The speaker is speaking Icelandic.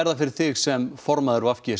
það fyrir þig sem formaður v g